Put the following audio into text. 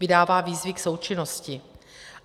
Vydává výzvy k součinnosti.